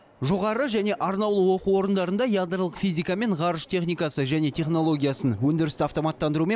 жоғары және арнаулы оқу орындарында ядролық физика мен ғарыш техникасы және технологиясын өндірісті автоматтандыру мен